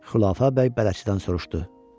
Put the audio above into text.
Xülafə bəy bələdçidən soruşdu.